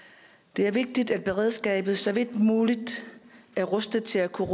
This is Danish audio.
det er vigtigt at beredskabet så vidt muligt er rustet til at kunne